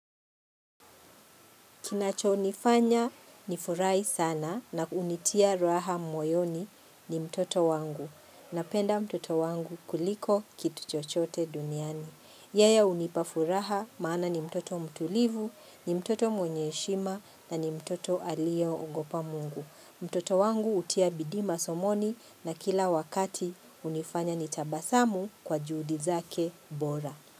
Kinachonifanya nifurahi sana na kunitia raha moyoni ni mtoto wangu. Napenda mtoto wangu kuliko kitu chochote duniani. Yeye hunipafuraha maana ni mtoto mtulivu, ni mtoto mwenye heshima na ni mtoto aliyeogopa mungu. Mtoto wangu hutia bidii masomoni na kila wakati hunifanya nitabasamu kwa juhudi zake bora.